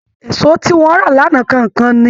Èso tí wọ́n rà lánàá kàn ń kán ni